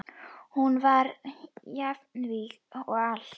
Hún var jafnvíg á allt.